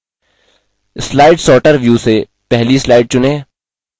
slide sorter view से पहली slide चुनें